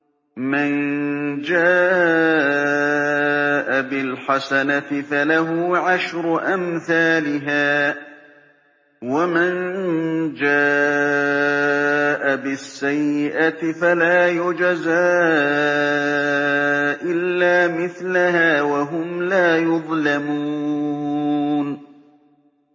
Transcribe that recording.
مَن جَاءَ بِالْحَسَنَةِ فَلَهُ عَشْرُ أَمْثَالِهَا ۖ وَمَن جَاءَ بِالسَّيِّئَةِ فَلَا يُجْزَىٰ إِلَّا مِثْلَهَا وَهُمْ لَا يُظْلَمُونَ